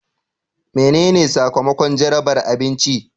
Menene sakamakon jarabar abinci?